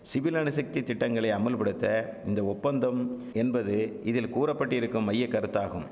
civil அணுசக்தி திட்டங்களை அமுல்படுத்த இந்த ஒப்பந்தம் என்பது இதில் கூறப்பட்டிருக்கும் மையக்கருத்தாகும்